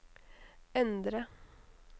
endre